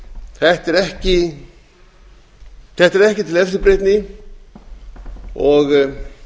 þetta er ekki til eftirbreytni og